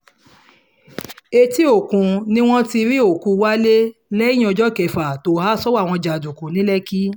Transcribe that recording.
etí òkun ni wọ́n ti rí òkú wálé lẹ́yìn ọjọ́ kẹfà tó há sọ́wọ́ àwọn jàǹdùkú ní lẹ́kì